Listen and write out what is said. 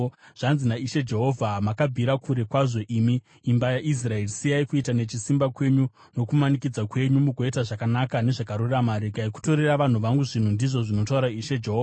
“ ‘Zvanzi naIshe Jehovha: Makabvira kure kwazvo, imi imba yaIsraeri! Siyai kuita nechisimba kwenyu nokumanikidza kwenyu mugoita zvakanaka nezvakarurama. Regai kutorera vanhu vangu zvinhu, ndizvo zvinotaura Ishe Jehovha.